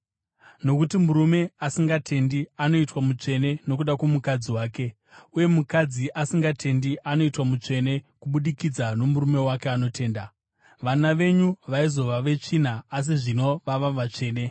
Nokuti murume asingatendi anoitwa mutsvene nokuda kwomukadzi wake, uye mukadzi asingatendi anoitwa mutsvene kubudikidza nomurume wake anotenda. Vana venyu vaizova netsvina, asi zvino vava vatsvene.